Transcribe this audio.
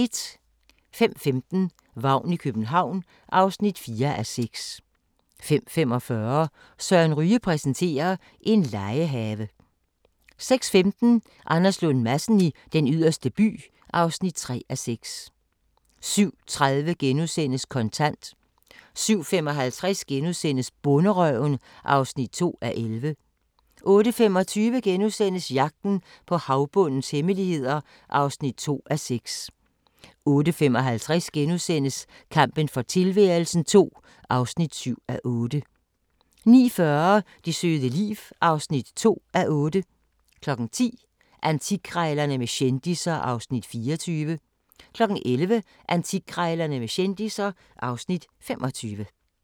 05:15: Vagn i København (4:6) 05:45: Søren Ryge præsenterer: En legehave 06:15: Anders Lund Madsen i Den Yderste By (3:4) 07:30: Kontant * 07:55: Bonderøven (2:11)* 08:25: Jagten på havbundens hemmeligheder (2:6)* 08:55: Kampen for tilværelsen II (7:8)* 09:40: Det søde liv (2:8) 10:00: Antikkrejlerne med kendisser (Afs. 24) 11:00: Antikkrejlerne med kendisser (Afs. 25)